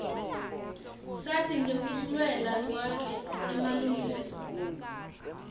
sati ngekulwela kwakhe emalungelo